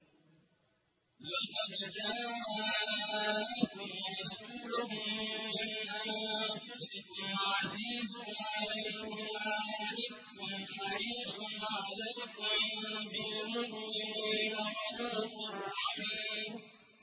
لَقَدْ جَاءَكُمْ رَسُولٌ مِّنْ أَنفُسِكُمْ عَزِيزٌ عَلَيْهِ مَا عَنِتُّمْ حَرِيصٌ عَلَيْكُم بِالْمُؤْمِنِينَ رَءُوفٌ رَّحِيمٌ